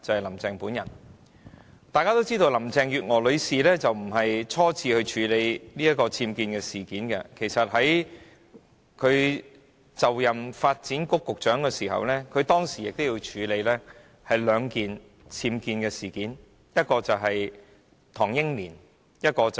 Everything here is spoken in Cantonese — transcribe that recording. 一如大家所知，這並非林鄭月娥女士初次處理僭建事件，在她擔任發展局局長時，其實已曾處理兩宗僭建事件，分別涉及唐英年和梁振英。